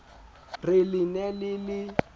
re le ne le le